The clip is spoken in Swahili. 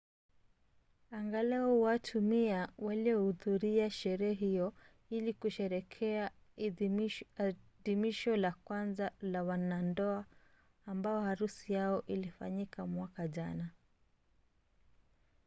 angalau watu 100 walihudhuria sherehe hiyo ili kusherehekea adhimisho la kwanza la wanandoa ambao harusi yao ilifanyika mwaka jana